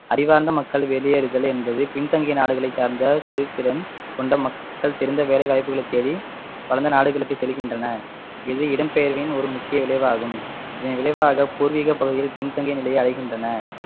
அறிவார்ந்த மக்கள் வெளியேறுதல் என்பது பின்தங்கிய நாடுகளை சார்ந்த தொழில்திறன் கொண்ட மக்கள் சிறந்த வேலை வாய்ப்புகளை தேடி வளர்ந்த நாடுகளுக்கு செல்கின்றனர் இது இடம்பெயர்வின் ஒரு முக்கிய விளைவாகும் இதன் விளைவாக பூர்வீக பகுதிகள் பின்தங்கிய நிலையை அடைகின்றன